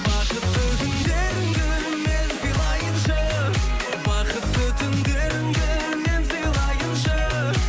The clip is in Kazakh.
бақытты күндеріңді мен сыйлайыншы бақытты түндеріңді мен сыйлайыншы